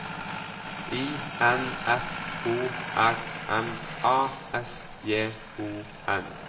I N F O R M A S J O N